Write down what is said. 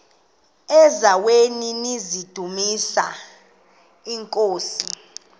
eziaweni nizidumis iinkosi